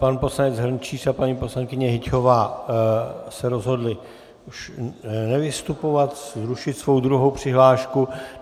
Pan poslanec Hrnčíř a paní poslankyně Hyťhová se rozhodli už nevystupovat, zrušit svou druhou přihlášku.